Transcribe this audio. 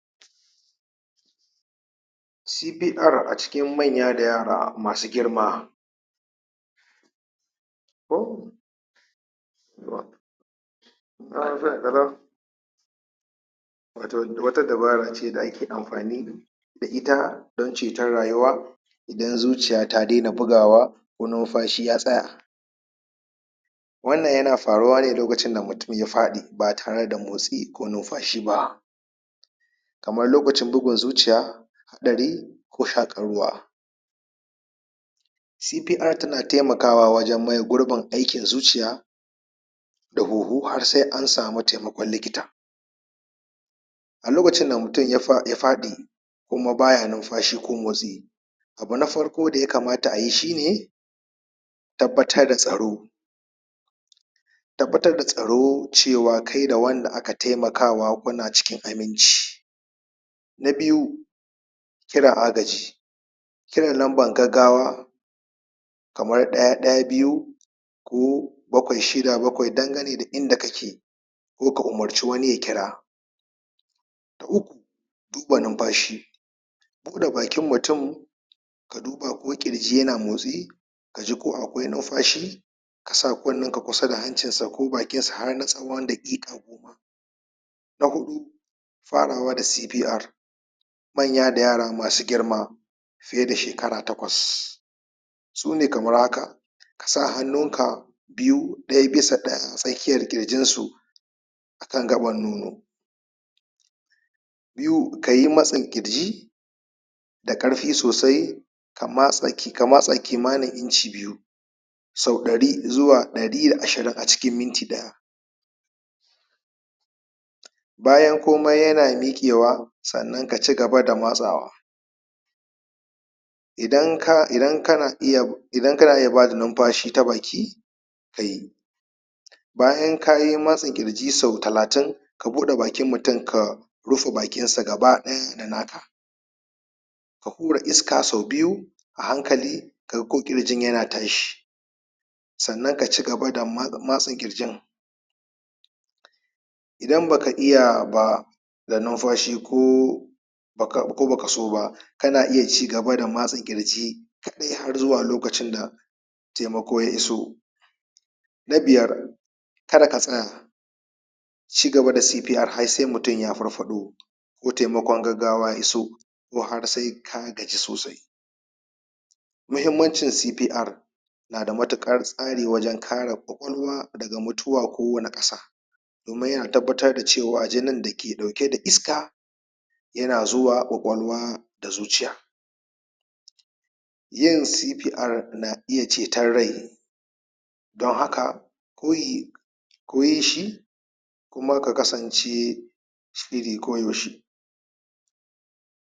CPR a jikin manya da yara masu girma ko wato wata dabara ce da ake amfani da ita da ita don ceton rayuwa idan zuciya ta daina bugawa, ko numfashi ya tsaya. wannan yana faruwa ne lokacin da mutum ya faɗi ba tare vda motsi ko numfashi ba. kamar lokacin bugun zuciya, ɗari, ko shaƙar ruwa. CPR tana taimakawa wajen maye gurbin zuciya da kuhu har sa an sami taimakon likita. A lokacin da mutum ya faɗi ko kuma baya numfashi ko motsi, abu na farko da ya kamata ayi shine tabbatar da tsaro, tabbatar da tsaro cewa kai da wanda aka taimakawa kuna cikin aminci, Na biyu, kiran agaji kiran lambar gaggawa kamar ɗaya-ɗaya-biyu, ko bakwai-shida-bakwai, fdangane da inda kake ko ka u,marci wani ya kira. Na Uku, duba numfashi buɗe bakin mutum ka duba ko ƙirji yana motsi, kaji ko akwai numfashi, ka sa kunnenka kusa da bakinsa ko hancinsa har na tsawon daƙiƙai Na huɗu, Farawa da CPR manya da yara masu girma fiye da shekara takwas sune kamar haka ka sa hannun ka biyu, ɗaya bisa tsakiyar ƙirjinsu akan gaɓar nono, biyu kayi matsin ƙirji, da ƙarfi sosai ka matsa kimanin inci biyu sau ɗari zuwa ɗari da ashirin a cikin minti ɗaya. Bayan komai yana miƙewa sannan ka ci gaba da matsawa. Idan kana Iidan kana iya bada numfashi ta baki kayi bayan kayi matsa ƙirji sau talatin ka buɗa bakin mutum ka rufe bakinsa gaba ɗaya da naka ka hura iska sau biyu, a hankali ka ga ko ƙirjin yana tashi. Sannan ka ci gaba da matsa ƙirjin, idan baka iya ba da numfashi ko baka so ba kana iya ci gaba da matsa ƙirji har zuwa lokacin da taimako ya iso. Na biyar, Kada ka tsaya ci gaba da CPR har sai mutum ya farfaɗo, ko taimakon gaggwa ya iso, ko kuma har sai ka gaji sosai. Muhimmancin CPR, na da matuƙar tsari don kare ƙwaƙwalwa daga mutuwa ko wani asara kuma yana tabbatar da cewa jinin da ke ɗauke da iska yana zuwa ƙwaƙwalwa da zuciya Yoin CPR na iya cetar rai, don haka koyi kyin shi kuma ka kasance da shiri ko yaushe.